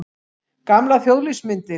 Gamlar þjóðlífsmyndir.